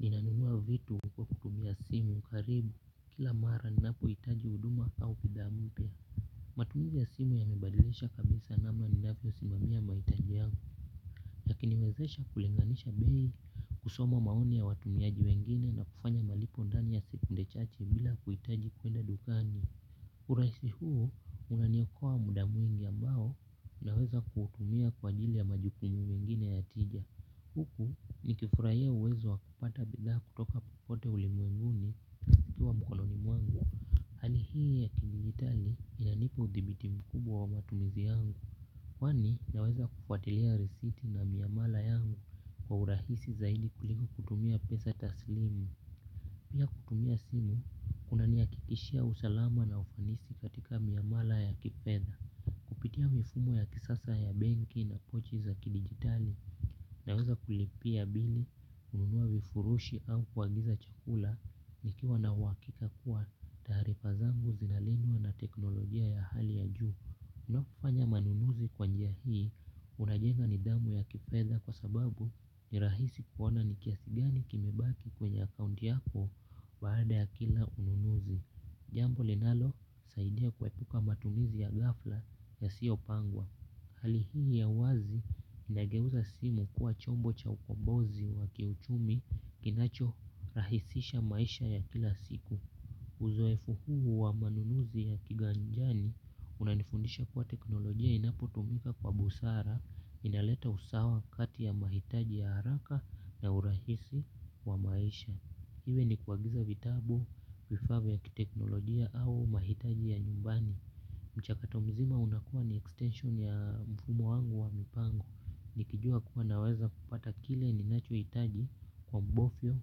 Ninanuua vitu kwa kutubmia simu karibu kila mara ninapo hitaji huduma au pidhaa mpya. Matumzi ya simu ya mebadilisha kabisa namna ninapo simamia mahitaji yangu. Yakini wezesha kulinganisha bei kusoma maoni ya watumiaji wengine na kufanya malipo ndani ya sekunde chache bila kuitaji kuenda dukani urahisi huo unaniokoa muda mwingi ambao naweza kuutumia kwa ajili ya majukumu mengine yakija. Huku ni kifurahia uwezo wa kupata bidhaa kutoka popote ulimwenguni kituwa mkononi mwangu. Hali hii ya kidigitali inanipa uthibiti mkubwa wa matumizi yangu. Kwani naweza kufuatilia risiti na miamala yangu kwa urahisi zaidi kuliku kutumia pesa taslimu. Pia kutumia simu kuna ni hakikishia usalama na ufanisi katika miamala ya kipeda. Kupitia mifumo ya kisasa ya benki na pochi za kidigitali naweza kulipia bili kununua vifurushi au kuagiza chakula ni kiwa na uhakika kuwa taarifa zangu zinalendwa na teknolojia ya hali ya juu. Unapofanya manunuzi kwanjia hii unajenga nidhamu ya kifedha kwa sababu nirahisi kuona ni kiasi gani kimebaki kwenye accounti yako baada ya kila ununuzi. Jambo linalo saidia kuepuka matumizi ya gafla yasiyopangwa. Hali hii ya wazi inageuza simu kuwa chombo cha ukombozi wa kiuchumi kinacho rahisisha maisha ya kila siku. Uzoefu huu wa manunuzi ya kiganjani unanifundisha kuwa teknolojia inapo tumika kwa busara inaleta usawa kati ya mahitaji ya haraka na urahisi wa maisha. Iwe ni kuagiza vitabu, vifaa vya kiteknolojia au mahitaji ya nyumbani. Mchakatomizima unakua ni extension ya mfumo wangu wa mipango. Nikijua kuwa naweza kupata kile ninacho hitaji kwa mbofyo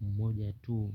mmoja tu.